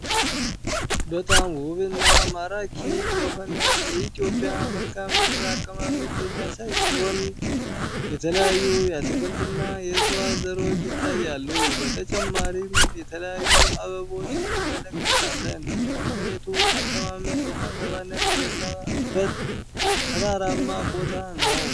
በጣም ውብና ማራኪና የሆነው የኢትዮጵያ መልካ ምድር አቀማመጥ የሚያሳይ ሲሆን የተለያዩ የአትክልትና የእጽዋት ዘሮች ይታያሉ በተጨማሪም የተለያዩ አበቦች እንመለከታለን የመሬቱ አቀማመጥ ወጣገባ የበዛበት ተራራማ ቦታ ነው።